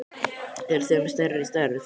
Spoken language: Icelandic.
Eruð þið með stærri stærð?